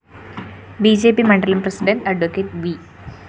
B J P മണ്ഡലം president adv V